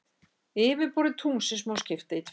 Yfirborði tunglsins má skipta í tvennt.